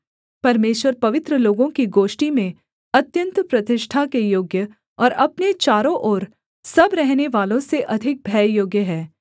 परमेश्वर पवित्र लोगों की गोष्ठी में अत्यन्त प्रतिष्ठा के योग्य और अपने चारों ओर सब रहनेवालों से अधिक भययोग्य है